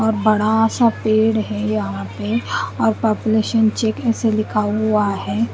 और बड़ा सा पेड़ है यहां पे और पापुलेशन चेक ऐसे लिखा हुआ है।